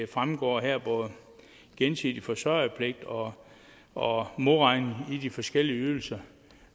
fremgår her i gensidig forsørgerpligt og og modregning i de forskellige ydelser